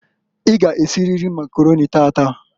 I g' esiriri Makaroni taataǃ